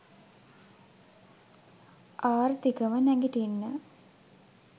ආර්ථිකව නැගිටින්න